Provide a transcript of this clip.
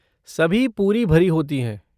सभी पूरी भरी होती हैं।